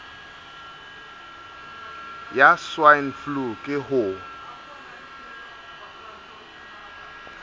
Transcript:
ya swine flu ke ho